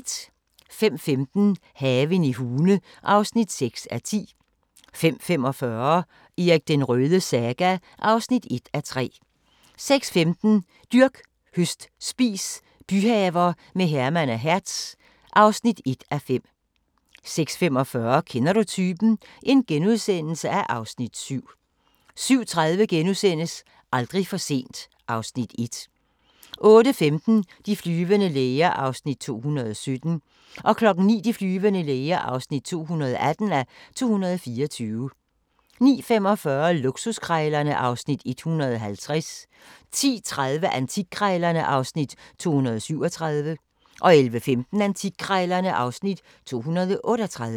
05:15: Haven i Hune (6:10) 05:45: Erik den Rødes saga (1:3) 06:15: Dyrk, høst, spis – byhaver med Herman og Hertz (1:5) 06:45: Kender du typen? (Afs. 7)* 07:30: Aldrig for sent (Afs. 1)* 08:15: De flyvende læger (217:224) 09:00: De flyvende læger (218:224) 09:45: Luksuskrejlerne (Afs. 150) 10:30: Antikkrejlerne (Afs. 237) 11:15: Antikkrejlerne (Afs. 238)